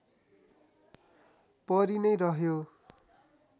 परी नै रह्यो